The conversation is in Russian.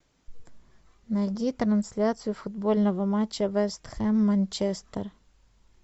найди трансляцию футбольного матча вест хэм манчестер